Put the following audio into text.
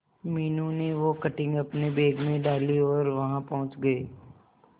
मीनू ने वो कटिंग अपने बैग में डाली और वहां पहुंच गए